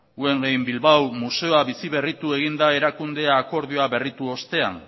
guggenheim bilbao museoa biziberritu egin da erakunde akordioa berritu ostean